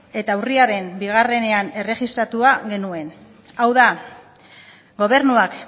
eta urriaren bian erregistratua genuen hau da gobernuak